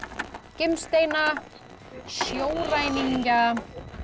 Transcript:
gimsteina sjóræningja